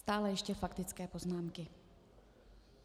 Stále ještě faktické poznámky.